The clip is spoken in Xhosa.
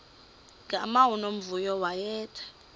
gama unomvuyo wayethe